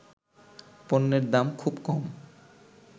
পণ্যের দাম খুব কম